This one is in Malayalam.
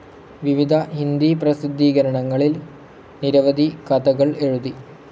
വിവിധ ഹിന്ദി പ്രസിദ്ധീകരണങ്ങളിൽ നിരവധി കഥകൾ എഴുതി.